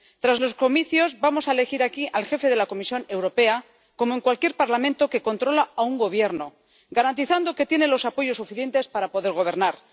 Tras los comicios, vamos a elegir aquí al jefe de la Comisión Europea como en cualquier parlamento que controla a un gobierno, garantizando que tiene los apoyos suficientes para poder gobernar.